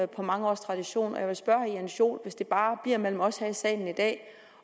på mange års tradition og jeg vil spørge herre jens joel hvis det bare bliver mellem os her i salen i dag